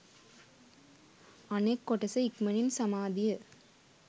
අනෙක් කොටස ඉක්මනින් සමාධිය